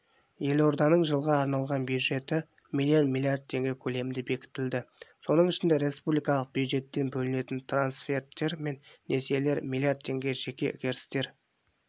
елорданың жылға арналған бюджеті млрд млн теңге көлемінде бекітілді соның ішінде республикалық бюджеттен бөлінетін трансферттер мен несиелер млрд теңге жеке кірістер